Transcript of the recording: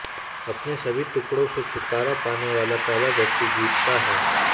अपने सभी टुकड़ों से छुटकारा पाने वाला पहला व्यक्ति जीतता है